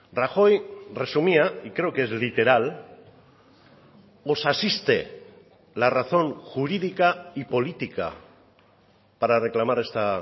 rajoy resumía y creo que es literal os asiste la razón jurídica y política para reclamar esta